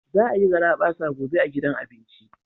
Za a yi garabasa gobe a gidan abinci.